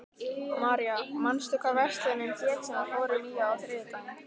Marja, manstu hvað verslunin hét sem við fórum í á þriðjudaginn?